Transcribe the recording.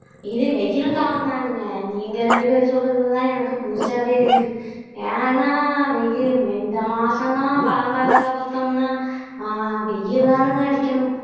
இது வெயில் காலம் தானுங்க நீங்க ரெண்டு பேரு சொல்றது தான் எனக்கு புதுசாவே இருக்கு ஏன்னா வெயி இந்த மாசம் எல்லாம் பழங்காலத்துல பாத்தோம்னா அஹ் வெயில் தானுங்க அடிக்கணும்